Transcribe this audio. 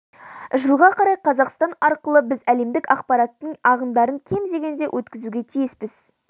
жылға қарай қазақстан арқылы біз әлемдік ақпараттық ағындардың кем дегенде өткізуге тиіспіз